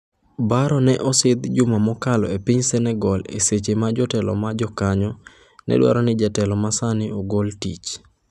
Barrow ne osidh juma mokalo e piny Senegal e seche ma jotelo ma jokanyo ne dwaro ni jatelo ma sani ogol tich.